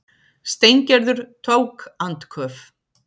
Steingerður tók andköf.